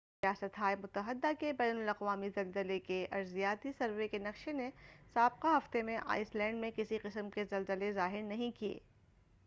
ریاست ہائے متحدہ کے بین الاقوامی زلزلے کے ارضیاتی سروے کے نقشے نے سابقہ ہفتے میں آئس لینڈ میں کسی قسم کے زلزلے ظاہر نہیں کیے